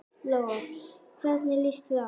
Lóa: Hvernig líst þér á?